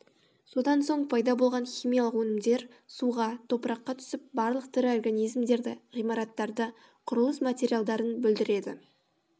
содан соң пайда болған химиялық өнімдер суға топыраққа түсіп барлық тірі организімдерді ғимараттарды құрлыс материалдарын бүлдіреді